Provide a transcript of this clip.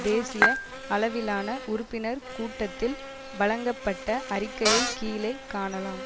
தேசிய அளவிலான உறுப்பினர் கூட்டத்தில் வழங்கப்பட்ட அறிக்கையை கீழே காணலாம்